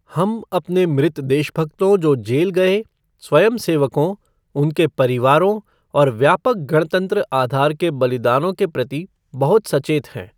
हम अपने मृत देशभक्तों, जो जेल गए, स्वयंसेवकों, उनके परिवारों और व्यापक गणतंत्र आधार के बलिदानों के प्रति बहुत सचेत हैं।